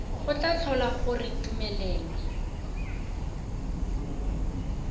go tla tlhola gore tumelelo